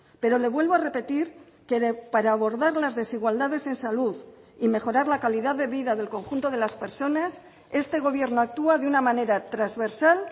pero le vuelvo a repetir que para abordar las desigualdades en salud y mejorar la calidad de vida del conjunto de las personas este gobierno actúa de una manera transversal